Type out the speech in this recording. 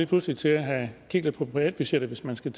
pludselig til at kigge lidt på privatbudgettet hvis man skal